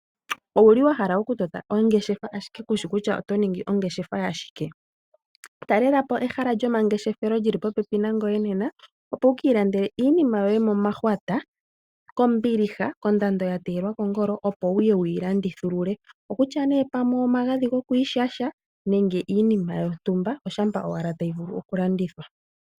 Owu li wa hala okutota ongeshefa ashike kushi kutya oto ningi ongeshefa yashike? Talelapo ehala lyomangeshefelo li li popepi nangweye nena opo wuka ilandele iinima yoye momahwata kombiliha kondando ya teyelwa kongolo opo wu ye wu yi landithulule, okutya omagadhi gokwiishasha nenge iinima yontumba oshampa owala tayi vulu okulandithwa.